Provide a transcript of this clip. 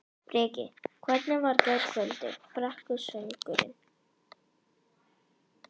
Breki: Hvernig var gærkvöldið, brekkusöngurinn?